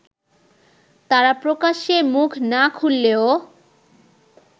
তারা প্রকাশ্যে মুখ না খুললেও